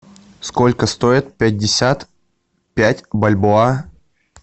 сколько стоит пятьдесят пять бальбоа